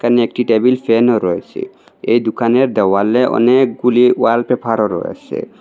সামনে একটি টেবিল ফ্যানও রয়েছে এই দোকানের দেওয়ালে অনেকগুলি ওয়াল পেফারও রয়েসে।